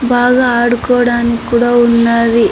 బాగా ఆడుకోడానికి కూడా ఉన్నవి.